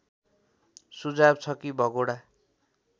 सुझाव छ कि भगोडा